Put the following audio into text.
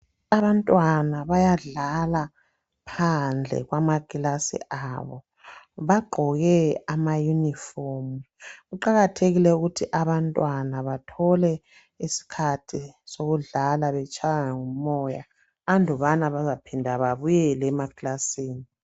Abantwana bayadlala phandle kwamaklasi abo bagqoke amayunifomu. Kuqakathekile ukuthi abantwana bathole iskhathi sokudlala betshaywa ngumoya andubana bazaphinda babuyele emaclasini.